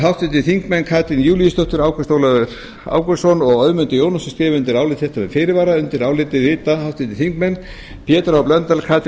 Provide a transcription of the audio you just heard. háttvirtir þingmenn katrín júlíusdóttir ágúst ólafur ágústsson og ögmundur jónasson skrifa undir álit þetta með fyrirvara undir álitið rita háttvirtir þingmenn pétur h blöndal katrín